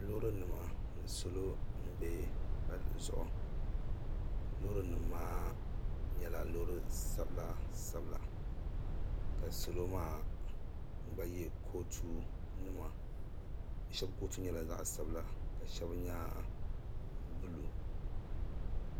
lorinima ni salo n bɛ pali zuɣigu lori nimaa nyɛla lori sabila ka salo maa gba yɛ kutu nima shɛb kutu nyɛla zaɣ' sabila ka shɛli nyɛ bolu